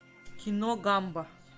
кино гамба